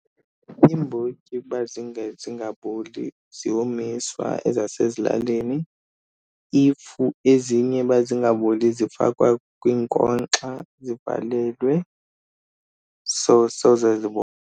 Iimbotyi uba zingaboli ziyomiswa ezasezilalini. If ezinye uba zingaboli zifakwa kwinkonkxa zivalelwe so soze .